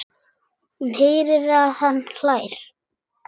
Hún heyrir að hann hlær.